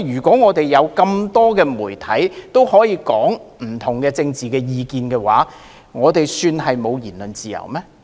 當香港眾多媒體可以表達不同的政治意見，這算是沒有言論自由嗎？